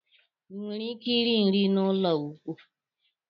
Ịnwere ike iri nri na ụlọ nkwụ.